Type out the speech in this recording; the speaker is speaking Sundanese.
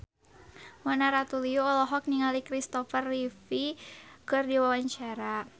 Mona Ratuliu olohok ningali Kristopher Reeve keur diwawancara